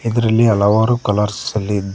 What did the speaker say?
ಇದರಲ್ಲಿ ಹಲವಾರು ಕಲರ್ಸ್ ಅಲ್ಲಿ ಇದ್ದ--